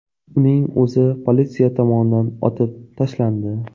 Uning o‘zi politsiya tomonidan otib tashlandi.